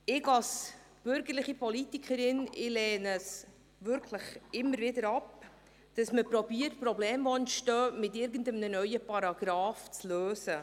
Als bürgerliche Politikerin lehne ich es immer wieder ab, Probleme, die entstehen, mit einem neuen Paragrafen zu lösen.